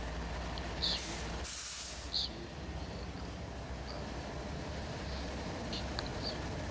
zobukhona balowo mkhiqizo